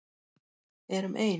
Erum ein.